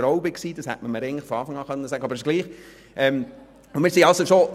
Ich kriegte die Stelle nebenbei deshalb nicht, weil ich keine Frau war.